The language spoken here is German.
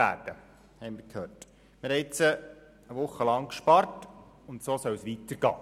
Wir haben jetzt während einer Woche gespart und so soll es weitergehen.